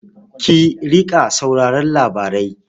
Ki riƙa sauraron labarai.